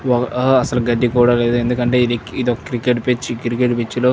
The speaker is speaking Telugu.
అసలు గడ్డి కూడా లేదు ఎందుకంటే ఇది ఇదో క్రికెట్ పిచ్గ్ క్రికెట్ పిచ్గ్ లో --